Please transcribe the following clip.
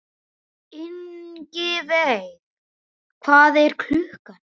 Ingiveig, hvað er klukkan?